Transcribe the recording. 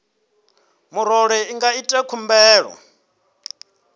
murole i nga ita khumbelo